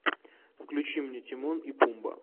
включи мне тимон и пумба